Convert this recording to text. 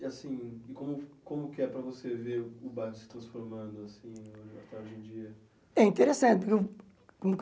E, assim, como como que é para você ver o bairro se transformando, assim, até hoje em dia? É interessante um um